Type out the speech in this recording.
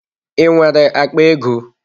I nwere akpa ego?